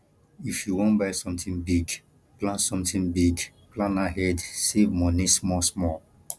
if you wan buy sometin big plan sometin big plan ahead save moni small small